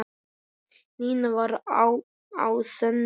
Nína var á þönum.